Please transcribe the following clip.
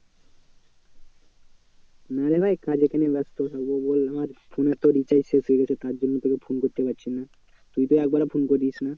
না রে ভাই কাজে কেন ব্যস্ত হবো বল আমার phone তো recharge শেষ হয়ে গেছে তার জন্য তোকে phone করতে পারছি না। তুই তো একবারও phone করিস না।